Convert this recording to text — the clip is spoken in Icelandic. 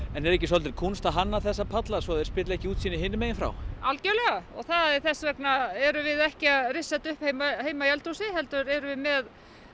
en er ekki kúnst að hanna þessa palla svo þeir spilli ekki útsýni hinum megin frá algjörlega og þess vegna erum við ekki að rissa þetta upp heima í eldhúsi heldur erum við með